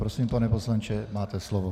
Prosím, pane poslanče, máte slovo.